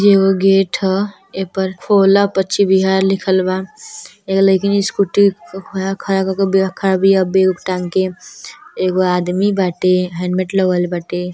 एगो गेट ह । ए पर पछिम विहार लिखल बा। एगो लईकनि स्कूटी खड़ा क के खड़ा बिया। बैग उग टांग के एगो आदमी बाटे। हेलमेट लगवले बाटे।